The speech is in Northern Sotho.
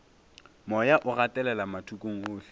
moya o gatelela mathokong ohle